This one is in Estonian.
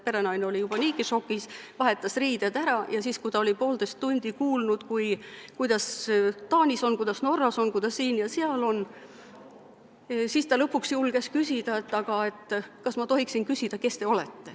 Perenaine oli juba niigi šokis, vahetas riided ära ja siis, kui ta oli poolteist tundi kuulnud, kuidas Taanis on, kuidas Norras on, kuidas siin ja seal on, siis ta lõpuks julges küsida, kas ta tohiks küsida, kes nad on.